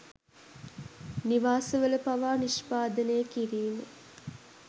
නිවාසවල පවා නිෂ්පාදනය කිරීම